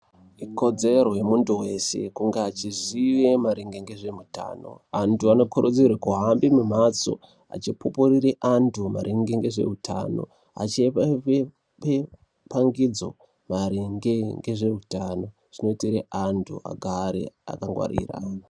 Ikodzero yemuntu weshe kunge achizive maringe ngezveutano. Antu anokurudzirwa kuhambe mumhatso achipupurire antu maringe ngezveutano achipepangidzo maringe ngezveutano kuti anhu agare akangwarira.